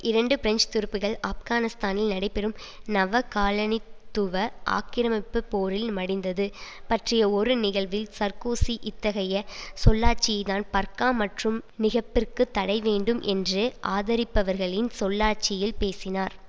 இரண்டு பிரெஞ்சு துருப்புகள் ஆப்கானிஸ்தானில் நடைபெறும் நவகாலனித்துவ ஆக்கிரமிப்பு போரில் மடிந்தது பற்றிய ஒரு நிகழ்வில் சர்க்கோசி இத்தகைய சொல்லாட்சியைத் தான் பர்கா மற்றும் நிகப்பிற்கு தடை வேண்டும் என்று ஆதரிப்பவர்களின் சொல்லாட்சியில் பேசினார்